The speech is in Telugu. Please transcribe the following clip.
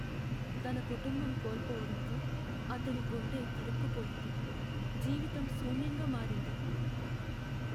తన కుటుంబం కోల్పోవడంతో, అతని గుండె తరుక్కుపోయింది, జీవితం శూన్యంగా మారింది.